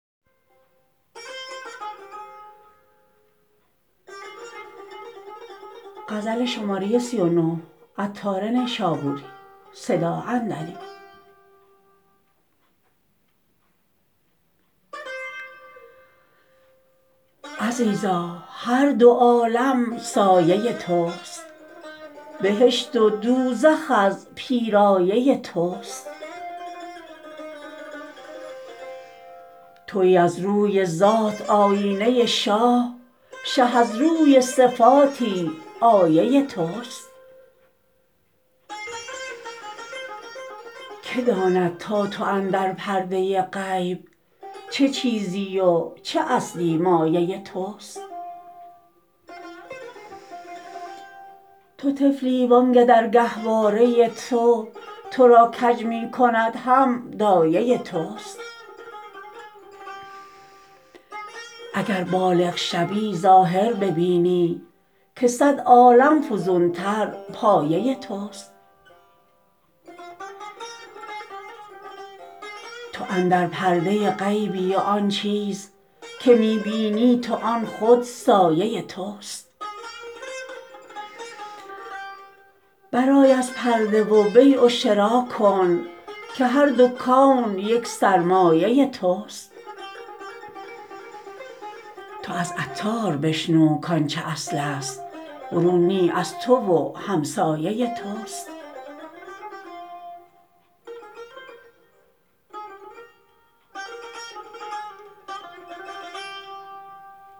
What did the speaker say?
عزیزا هر دو عالم سایه توست بهشت و دوزخ از پیرایه توست تویی از روی ذات آیینه شاه شه از روی صفاتی آیه توست که داند تا تو اندر پرده غیب چه چیزی و چه اصلی مایه توست تو طفلی وانکه در گهواره تو تو را کج می کند هم دایه توست اگر بالغ شوی ظاهر ببینی که صد عالم فزون تر پایه توست تو اندر پرده غیبی و آن چیز که می بینی تو آن خود سایه توست برآی از پرده و بیع و شرا کن که هر دو کون یک سرمایه توست تو از عطار بشنو کانچه اصل است برون نی از تو و همسایه توست